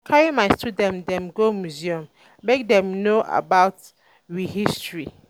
um I carry my student dem go museum um make dem know about um um we history.